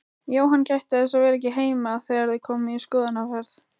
Jóhann gætti þess að vera ekki heima þegar þau komu í skoðunarferð.